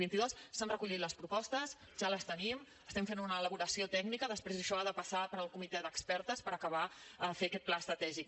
s’han recollit les propostes ja les tenim estem fent una elaboració tècnica després això ha de passar pel comitè d’expertes per acabar de fer aquest pla estratègic